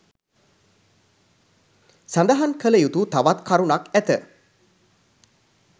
සඳහන් කළ යුතු තවත් කරුණක් ඇත